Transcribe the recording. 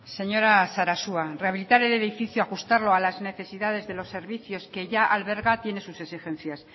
señora sarasua rehabilitar el edificio ajustarlo a las necesidades de los servicios que ya alberga tiene sus exigencias